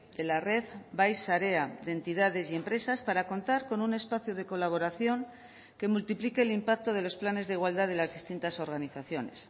de la red bai sarea de entidades y empresas para contar con un espacio de colaboración que multiplique el impacto de los planes de igualdad de las distintas organizaciones